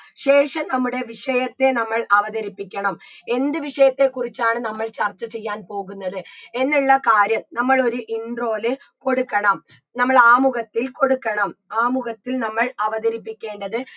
ശേഷം നമ്മടെ വിഷയത്തെ നമ്മൾ അവതരിപ്പിക്കണം എന്ത് വിഷയത്തെ കുറിച്ചാണ് നമ്മൾ ചർച്ച ചെയ്യാൻ പോകുന്നത് എന്നുള്ള കാര്യം നമ്മളൊരു intro ല് കൊടുക്കണം നമ്മളാമുഖത്തിൽ കൊടുക്കണം ആമുഖത്തിൽ നമ്മൾ അവതരിപ്പിക്കേണ്ടത്